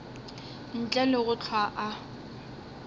ntle le go hlwa a